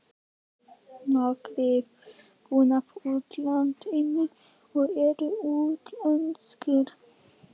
Nokkrir búa í útlandinu og eru útlenskir.